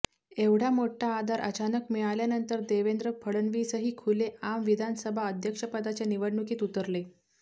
एवढा मोठा आधार अचानक मिळाल्यानंतर देवेंद्र फडणवीसही खुले आम विधानसभा अध्यक्षपदाच्या निवडणुकीत उतरले